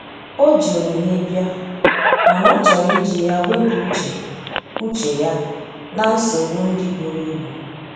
O ji onyinye bia, mana ọ chọrọ iji ya wepụ uche uche ya na nsogbo ndi buru ibụ.